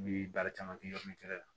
N bi baara caman kɛ yɔrɔni kelen na